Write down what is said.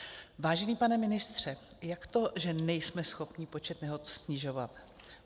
Vážený pane ministře, jak to, že nejsme schopni počet nehod snižovat?